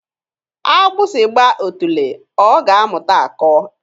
Agbụsị gbaa otule, ọ ga-amụta akọ.